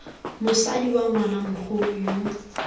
motsadi wa ngwana mogolo yo